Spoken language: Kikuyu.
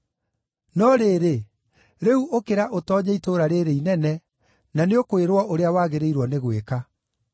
No rĩrĩ, rĩu ũkĩra ũtoonye itũũra rĩĩrĩ inene, na nĩũkwĩrwo ũrĩa wagĩrĩirwo nĩ gwĩka.”